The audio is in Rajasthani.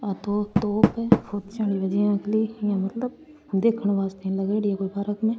आ तो तोप है देखन वास्ते लगायेडी है कोई पार्क म।